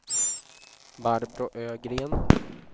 Barbro Ögren